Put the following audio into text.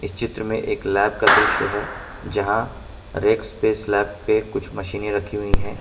चित्र में एक लैब का दृश्य है यहां रैक्स पे स्लैब पे कुछ मशीनें रखी हुई हैं।